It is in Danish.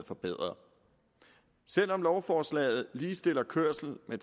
forbedret selv om lovforslaget ligestiller kørsel med